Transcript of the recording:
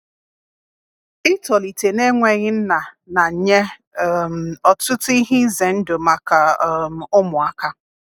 itọlite na enweghi nna na nye um ọtụtụ ihe ize ndụ maka um ụmụaka